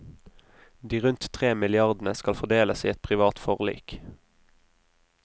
De rundt tre milliardene skal fordeles i et privat forlik.